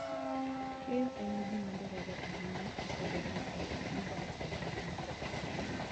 Keyo en gima dwarore ahinya e Pidhoo joot modak e gwenge mosokore